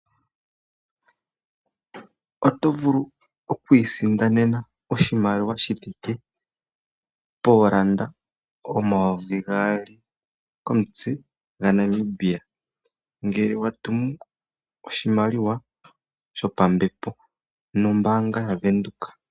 Oto vulu oku isindanena oshimaliwa shi thike pooN$2000.00 komutse ngele wa tumu oshimaliwa shopambepo nombaanga ya Windhoek.